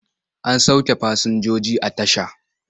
An sauke fasinjoji a tasha.